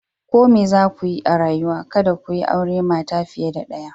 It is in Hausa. Ko me za ku yi a rayuwa, kada ku yi aure mata fiye da daya.